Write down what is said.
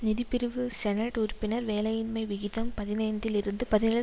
நிதிப்பிரிவு senate உறுப்பினர் வேலையின்மை விகிதம் பதினைந்தில் இருந்து பதினேழு